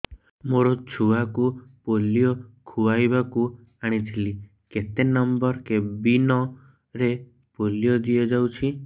ମୋର ଛୁଆକୁ ପୋଲିଓ ଖୁଆଇବାକୁ ଆଣିଥିଲି କେତେ ନମ୍ବର କେବିନ ରେ ପୋଲିଓ ଦିଆଯାଉଛି